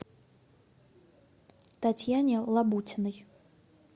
татьяне лабутиной